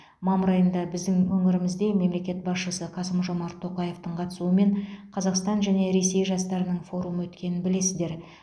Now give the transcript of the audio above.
мамыр айында біздің өңірімізде мемлекет басшысы қасым жомарт тоқаевтың қатысуымен қазақстан және ресей жастарының форумы өткенін білесіздер